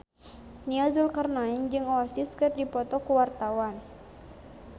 Nia Zulkarnaen jeung Oasis keur dipoto ku wartawan